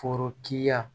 Forokiya